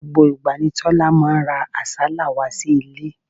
Gbogbo ìgbà ni Tọ́lá máa ń ra àsálà wá sí ilé.